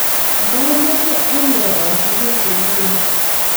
Mamache ane atunis nguni